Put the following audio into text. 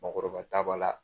Mɔɔkɔrɔba ta b'a la